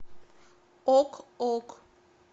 ок ок